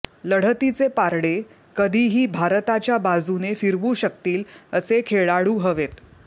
लढतीचे पारडे कधीही भारताच्या बाजूने फिरवू शकतील असे खेळाडू हवेत